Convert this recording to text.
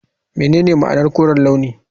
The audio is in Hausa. Menene ma'anar koren launi?